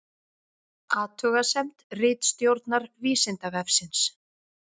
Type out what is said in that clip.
Athugasemd ritstjórnar Vísindavefsins